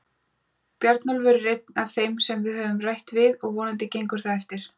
Bjarnólfur er einn af þeim sem við höfum rætt við og vonandi gengur það eftir.